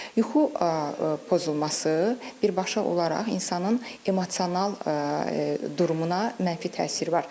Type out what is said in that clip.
Yuxu pozulması birbaşa olaraq insanın emosional durumuna mənfi təsiri var.